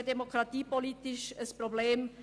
Es ist auch demokratiepolitisch ein Problem: